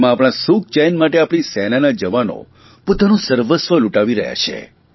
તેમાં આપણા સુખચેન માટે આપણી સેનાના જવાનો પોતાનું સર્વસ્વ લુંટાવી રહ્યા છે